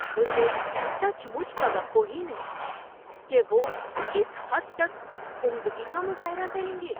مجھے سچ مچ توقع ہی نہیں تھی کہ وہ اس حد تک عمدگی کا مظاہرہ کریں گے۔